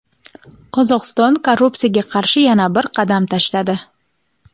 Qozog‘iston korrupsiyaga qarshi yana bir "qadam tashladi".